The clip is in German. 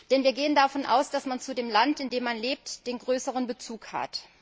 Denn wir gehen davon aus, dass man zu dem Land, in dem man lebt, den stärkeren Bezug hat.